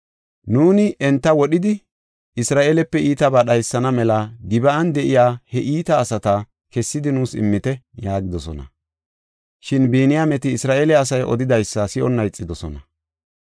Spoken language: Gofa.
Nuuni enta wodhidi, Isra7eelepe iitabaa dhaysana mela Gib7an de7iya he iita asata kessidi nuus immite” yaagidosona. Shin Biniyaameti Isra7eele asay odidaysa si7onna ixidosona.